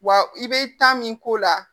Wa i bɛ taa min k'o la